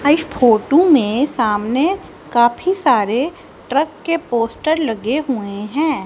हईस photo में सामने काफी सारे ट्रक के पोस्टर लगे हुए हैं।